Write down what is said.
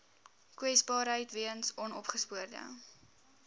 kwesbaarheid weens onopgespoorde